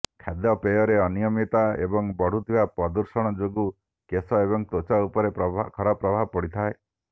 ଖାଦ୍ୟପେୟରେ ଅନିୟମିତତା ଏବଂ ବଢୁଥିବା ପ୍ରଦୂଷଣ ଯୋଗୁଁ କେଶ ଏବଂ ତ୍ୱଚା ଉପରେ ଖରାପ ପ୍ରଭାବ ପଡିଥାଏ